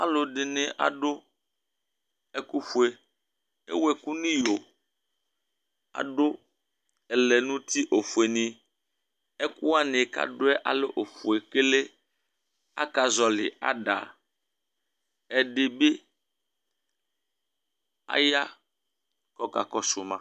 Alʋɛdìní adu ɛku fʋe Ewu ɛku nʋ iyo Adu ɛlɛnuti ɔfʋe ni Ɛkʋ wani kʋ adu yɛ alɛ ɔfʋe kele Akazɔli ada Ɛdí bi ɔya kʋ ɔkakɔsu ma